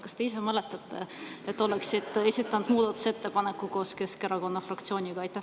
Kas te ise mäletate, et te oleksite esitanud muudatusettepaneku koos Keskerakonna fraktsiooniga?